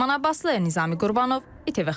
Ləman Abbaslı, Nizami Qurbanov, ATV Xəbər.